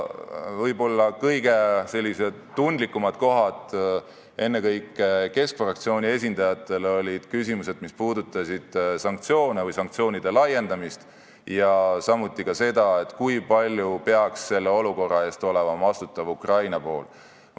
Võib-olla kõige tundlikumad kohad, ennekõike Keskerakonna fraktsiooni esindajate arvates, olid küsimused, mis puudutasid sanktsioone või sanktsioonide laiendamist ja samuti seda, kui palju peaks selle olukorra eest olema vastutav Ukraina pool.